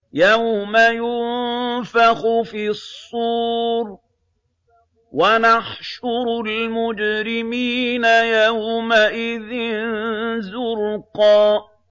يَوْمَ يُنفَخُ فِي الصُّورِ ۚ وَنَحْشُرُ الْمُجْرِمِينَ يَوْمَئِذٍ زُرْقًا